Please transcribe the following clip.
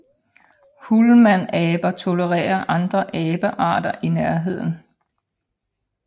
Hulmanaber tolererer andre abearter i nærheden